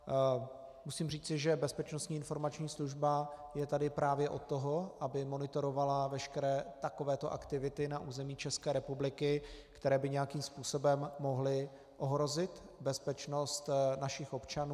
Musím říci, že Bezpečnostní informační služba je tady právě od toho, aby monitorovala veškeré takovéto aktivity na území České republiky, které by nějakým způsobem mohly ohrozit bezpečnost našich občanů.